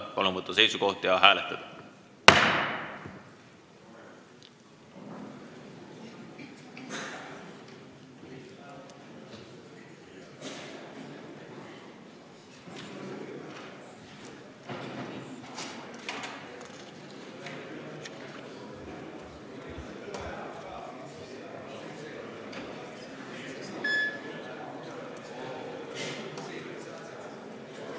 Palun võtta seisukoht ja hääletada!